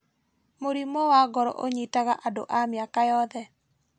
Mũrimũ wa ngoro ũnyitaga andũ a mĩaka yothe